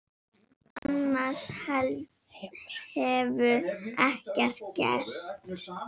Annars hefur ekkert gerst